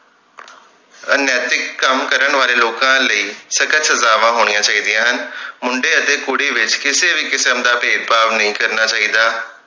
ਅਨੈਤਿਕ ਕੰਮ ਕਰਨ ਵਾਲੇ ਲੋਕਾਂ ਲਈ ਸਖਤ ਸਜਾਵਾਂ ਹੋਣੀਆਂ ਚਾਹੀਦੀਆਂ ਹਨ ਮੁੰਡੇ ਅਤੇ ਕੁੜੀ ਵਿਚ ਕਿਸੇ ਵੀ ਕਿਸਮ ਦਾ ਭੇਦਭਾਵ ਨਹੀਂ ਕਰਨਾ ਚਾਹੀਦਾ